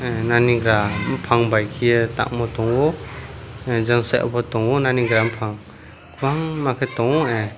naniga bufang bai ke tamo tongo jansa sa obo tongo nangi bufang bufang kwbang ke.